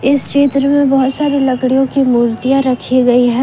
इस चित्र में बहोत सारी लड़कियों की मूर्तियां रखी गई है।